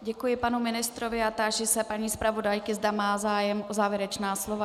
Děkuji panu ministrovi a táži se paní zpravodajky, zda má zájem o závěrečná slova.